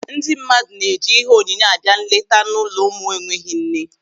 Ndị mmadụ na-eji ihe onyinye abịa nleta n'ụlọ ụmụ enweghị nne.